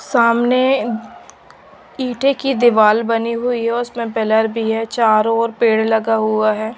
सामने ईटे की दीवाल बनी हुई उसमें पिलर भी है चारों ओर पेड़ लगा हुआ है।